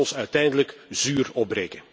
Het zal ons uiteindelijk zuur opbreken.